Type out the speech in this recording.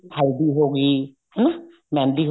ਹਲਦੀ ਹੋਗੀ ਹਨਾ ਮਹਿੰਦੀ